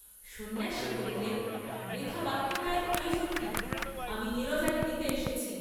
সন্ন্যাসী বলিলেন বৃথা বাক্যব্যয়ের প্রয়োজন কি, আমি নীরজাকে নিতে এসেছি।